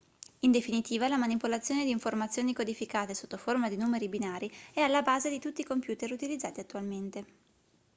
in definitiva la manipolazione di informazioni codificate sotto forma di numeri binari è alla base di tutti i computer utilizzati attualmente